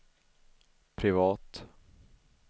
privat